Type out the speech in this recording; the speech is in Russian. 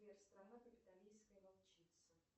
сбер страна капитолийская волчица